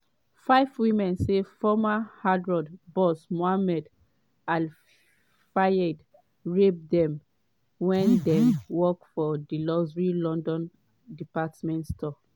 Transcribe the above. five women say former harrods boss mohamed al fayed rape dem wen dem work for di luxury london department store.